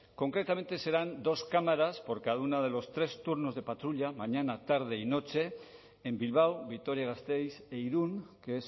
concretamente serán dos cámaras por cada uno de los tres turnos de patrulla mañana tarde y noche en bilbao vitoria gasteiz e irún que